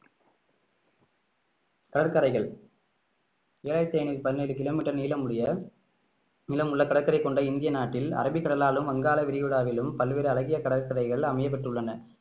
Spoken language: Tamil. கடற்கரைகள் ஏழாயிரத்து ஐநூத்தி பதினேழு கிலோமீட்டர் நீளமுடைய நீளமுள்ள கடற்கரை கொண்ட இந்திய நாட்டில் அரபிக்கடலாலும் வங்காள விரிகுடாவிலும் பல்வேறு அழகிய கடற்கரைகள் அமையப்பட்டுள்ளன